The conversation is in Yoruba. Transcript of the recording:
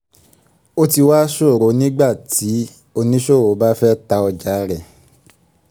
ó ti wà ṣòro nígbà tí oníṣòwò bá fẹ́ ta ọjà rẹ̀